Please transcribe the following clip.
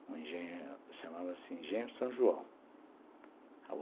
Um engenho, se chamava assim, engenho São João.